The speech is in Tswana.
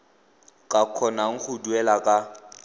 ka kgonang go duela ka